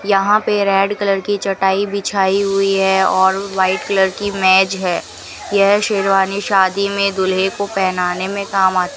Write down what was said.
यहां पे red colour की चटाई बिछाई हुई है और वाइट कलर की मेज है यह शेरवानी शादी में दूल्हे को पहनने में काम आती --